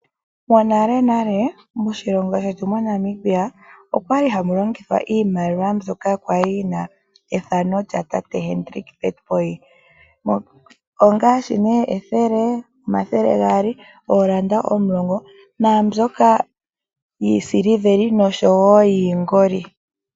Monalenale moshilongo shetu moNamibia, okwali hamu longithwa iimaliwa mbyoka kwali yina ethano lyaTate Hendrick Witbooi ongaashi nee ethele, omathele gaali, oolanda omulongo. Naambyoka yiisiveli osho wo yiingoli.